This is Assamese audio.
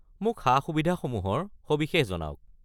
মোক সা-সুবিধাসমূহৰ সবিশেষ জনাওক।